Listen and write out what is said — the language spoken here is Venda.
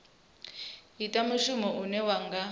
ita mushumo une wa nga